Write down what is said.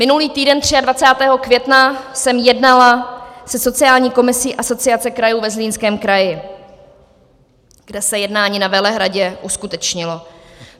Minulý týden, 23. května, jsem jednala se sociální komisí Asociace krajů ve Zlínském kraji, kde se jednání na Velehradu uskutečnilo.